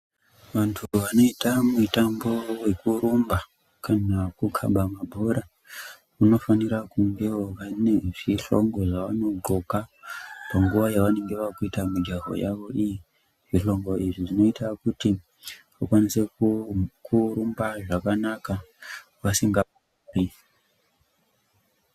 Vantu vanoita mitambo yekurumba , kana kukaba mabhora , vanofanira kungewo vane zvihlogo zvavanonxoka panguva yavanenge vakuita mijaho yavo iyi zvihlogo izvi zvinoita kuti , vakwanise ku kurumba zvakanaka vasinga gumbi.